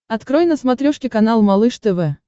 открой на смотрешке канал малыш тв